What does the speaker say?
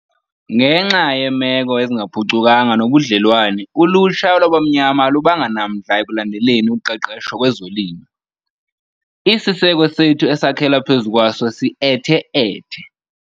Ngenxa yeemeko ezingaphucukanga nobudlelwane ulutsha lwabaMnyama alubanga namdla ekulandeleni uqeqesho kwezolimo. Isiseko sethu esakhela phezu kwaso si-ethe-ethe.